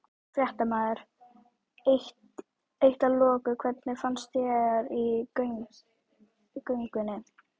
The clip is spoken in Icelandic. Fréttamaður: Eitt að loku, hvernig fannst þér í göngunni?